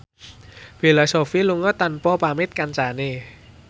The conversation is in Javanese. Bella Shofie lunga tanpa pamit kancane